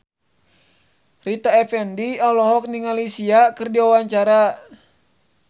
Rita Effendy olohok ningali Sia keur diwawancara